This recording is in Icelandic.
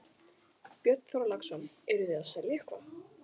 Björn Þorláksson: Eruð þið að selja eitthvað?